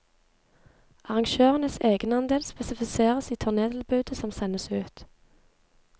Arrangørenes egenandel spesifiseres i turnétilbudet som sendes ut.